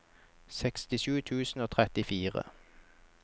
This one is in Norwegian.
sekstisju tusen og trettifire